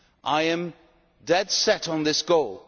I am dead set on this goal.